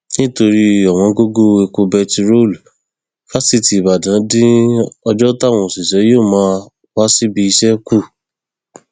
nítorí ọwọngọgọ epo bẹntiróòlù fásitì ìbàdàn dín ọjọ táwọn òṣìṣẹ yóò máa wá síbi iṣẹ kù